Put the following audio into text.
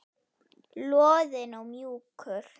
Loðinn og mjúkur.